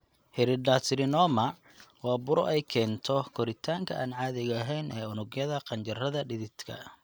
Hidradenocarcinoma waa buro ay keento koritaanka aan caadiga ahayn ee unugyada qanjidhada dhididka.